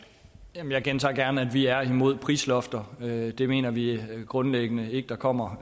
jamen jeg gentager gerne at vi er imod prislofter det mener vi grundlæggende ikke der kommer